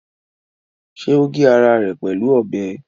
Ṣé o gé ara rẹ̀ pẹ̀lú ọbẹ̀?